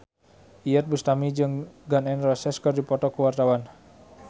Iyeth Bustami jeung Gun N Roses keur dipoto ku wartawan